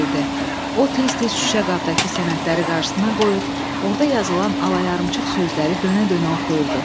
O tez-tez şüşə qabdakı sənədləri qarşısına qoyur, orada yazılan alayarımçıq sözləri dönə-dönə oxuyurdu.